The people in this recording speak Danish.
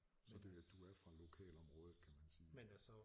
Så det du er fra lokalområdet kan man sige